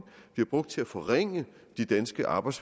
bliver brugt til at forringe de danske arbejds